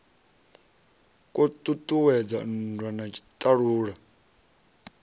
kwo ṱuṱuwedza nndwa na tshiṱalula